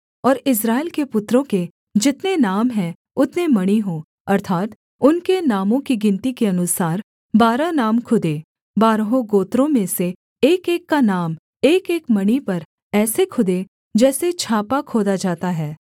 और इस्राएल के पुत्रों के जितने नाम हैं उतने मणि हों अर्थात् उनके नामों की गिनती के अनुसार बारह नाम खुदें बारहों गोत्रों में से एकएक का नाम एकएक मणि पर ऐसे खुदे जैसे छापा खोदा जाता है